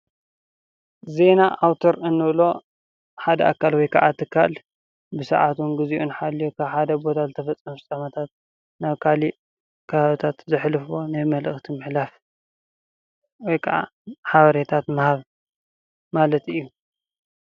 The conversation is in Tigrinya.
ዜና ኣዉታር እንብሎ ሓደ ኣካል ወይ ከዓ ትካል ብሰዓቱን ግዚኡን ሓልዩ ካብ ሓደ ቦታ ዝተፈፀመ ፍፃመታት ናብ ካሊእ ከባብታት ዘሕልፎ ናይ መልእኽቲ ምሕላፍ ወይ ከዓ ሓበሬታታት ምሃብ ማለት እዩ።